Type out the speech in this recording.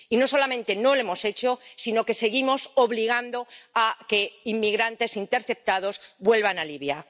Y no solamente no lo hemos hecho, sino que seguimos obligando a que inmigrantes interceptados vuelvan a Libia.